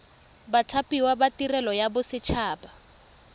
bathapiwa ba tirelo ya boset